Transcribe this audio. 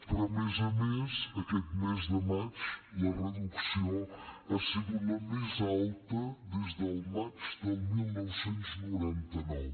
però a més a més aquest mes de maig la reducció ha sigut la més alta des del maig del dinou noranta nou